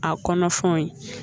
A kɔnɔfɛnw ye